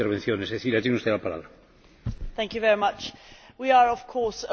We are, of course, aware of the pressure that Greece is facing.